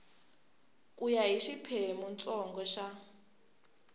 ku ya hi xiphemuntsongo xa